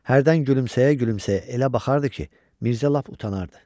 Hərdən gülümsəyə-gülümsəyə elə baxardı ki, Mirzə lap utanardı.